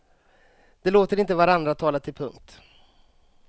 De låter inte varandra tala till punkt.